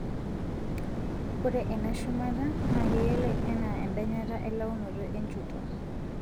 Ore ena shumata naa keyioloi anaa endanyata elaunoto enchoto.